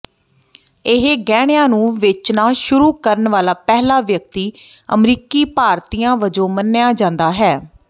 ਇਸ ਗਹਿਣਿਆਂ ਨੂੰ ਵੇਚਣਾ ਸ਼ੁਰੂ ਕਰਨ ਵਾਲਾ ਪਹਿਲਾ ਵਿਅਕਤੀ ਅਮਰੀਕੀ ਭਾਰਤੀਆਂ ਵਜੋਂ ਮੰਨਿਆ ਜਾਂਦਾ ਹੈ